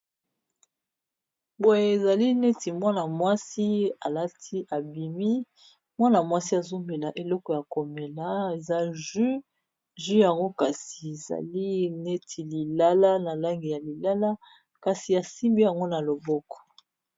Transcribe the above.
Boye ezali neti Mwana mwasi alati abimi ,azo mela juis ya lilala pe asimbi yango na maboko.